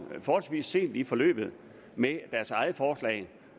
forholdsvis sent i forløbet med deres eget forslag